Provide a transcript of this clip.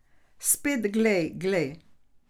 Spet glej, glej.